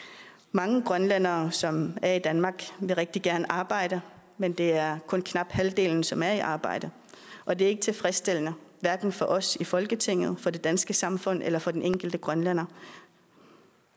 mange grønlændere som er i danmark vil rigtig gerne arbejde men det er kun knap halvdelen som er i arbejde og det er ikke tilfredsstillende hverken for os i folketinget for det danske samfund eller for den enkelte grønlænder